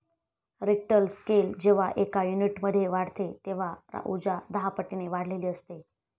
Richter scale जेव्हा एका युनिटने वाढते तेव्हा उर्जा दहापटीने वाढलेली असते.